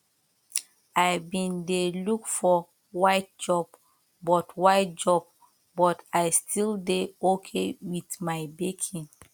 i bin dey look for white job but white job but i still dey okay with my baking